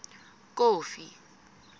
kofi